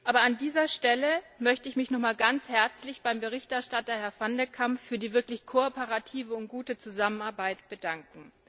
Aber an dieser Stelle möchte ich mich noch einmal ganz herzlich beim Berichterstatter, Herrn van de Camp für die wirklich kooperative und gute Zusammenarbeit bedanken.